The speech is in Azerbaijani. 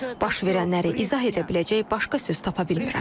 Baş verənləri izah edə biləcək başqa söz tapa bilmirəm.